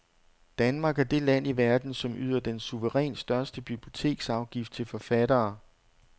Danmark er det land i verden, som yder den suverænt største biblioteksafgift til forfattere.